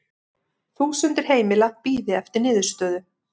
Þúsundir heimila bíði eftir niðurstöðu